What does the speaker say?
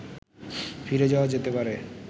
ফিরে যাওয়া যেতে পারে